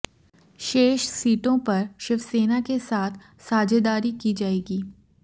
शेष सीटों पर शिवसेना के साथ साझेदारी की जाएगी